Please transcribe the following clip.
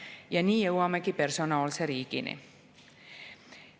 Ja nii jõuamegi personaalse riigini.